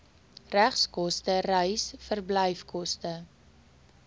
regskoste reis verblyfkoste